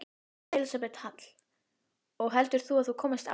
Elísabet Hall: Og heldur þú að þú komist áfram?